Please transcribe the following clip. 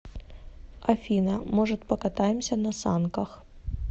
афина может покатаемся на санках